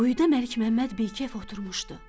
Quyuda Məlik Məmməd bikəf oturmuşdu.